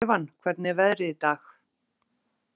Evan, hvernig er veðrið í dag?